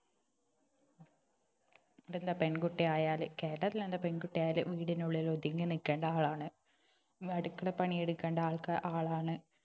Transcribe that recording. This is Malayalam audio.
അതെന്താ പെൺകുട്ടി ആയാല് കേരളത്തിലെന്താ പെൺകുട്ടി ആയാൽ വീടിനുള്ളിൽ ഒതുങ്ങി നിൽക്കേണ്ട ആളാണ് അടുക്കള പണിയെടുക്കേണ്ട ആൾക്കാ ആളാണ്